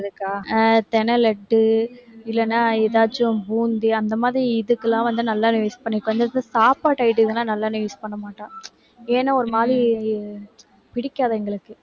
அஹ் திணை லட்டு இல்லேன்னா எதாச்சும் பூந்தி அந்த மாதிரி இதுக்கெல்லாம் வந்து நல்லெண்ணெய் use பண்ணிப்போம். சாப்பாடு நல்லெண்ணெய் use பண்ணமாட்டோம், ஏன்னா ஒரு மாதிரி பிடிக்காது எங்களுக்கு.